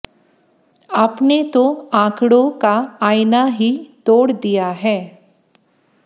आपने तो आंकड़ों का आईना ही तोड़ दिया है